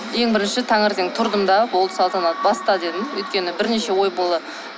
ең бірінші таңертең тұрдым да болды салтанат баста дедім өйткені бірнеше ой